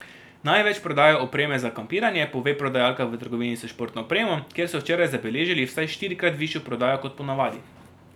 Največ prodajo opreme za kampiranje, pove prodajalka v trgovini s športno opremo, kjer so včeraj zabeležili vsaj štirikrat višjo prodajo kot po navadi.